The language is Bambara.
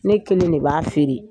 Ne kelen de b'a feere.